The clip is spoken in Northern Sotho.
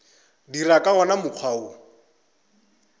dira ka wona mokgwa wo